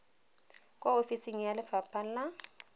kwa ofising ya lefapha la